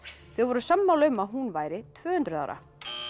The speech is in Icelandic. þau voru sammála um að hún væri tvö hundruð ára